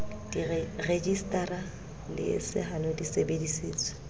rejisetara le sehalo di sebedisitswe